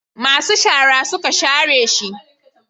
masu shara suka share shi